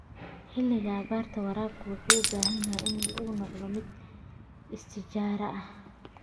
Xilliga abaarta, waraabku wuxuu u baahan yahay inuu noqdo mid istiraatiiji ah.